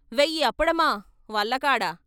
వెయ్యి అప్పడమా వల్ల కాడా!